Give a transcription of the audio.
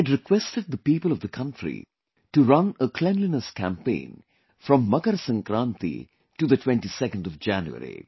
I had requested the people of the country to run a cleanliness campaign from Makar Sankranti to the 22nd of January